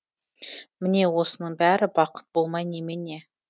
міне осының бәрі бақыт болмай немене